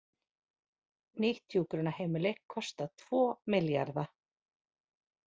Nýtt hjúkrunarheimili kostar tvo milljarða